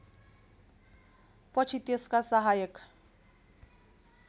पछि त्यसका सहायक